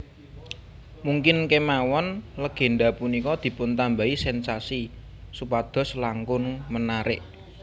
Mungkin kémawon legénda punika dipuntambahi sensasi supados langkung menarik